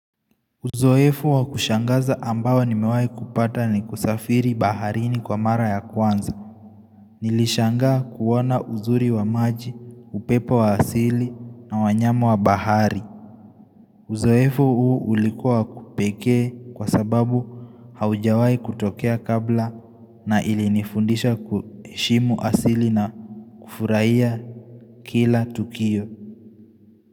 Uzoefu wakushangaza ambao nimewahi kupata ni kusafiri baharini kwa mara ya kwanza. Nilishangaa kuona uzuri wa maji, upepo wa asili na wanyama wa bahari. Uzoefu huu ulikuwa wa kipekee kwa sababu haujawahi kutokea kabla na ilinifundisha kuheshimu asili na kufurahia kila tukio.